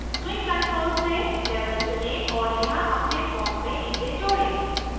swing controls से label चुनें और यहाँ अपने form में इसे जोड़ें